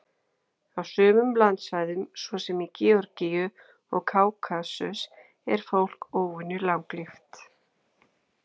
Á sumum landsvæðum, svo sem í Georgíu og Kákasus, er fólk óvenju langlíft.